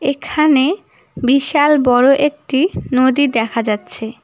এখানে বিশাল বড় একটি নদী দেখা যাচ্ছে।